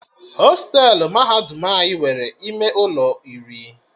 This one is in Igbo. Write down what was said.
Hostelu mahadum anyị nwere ime ụlọ iri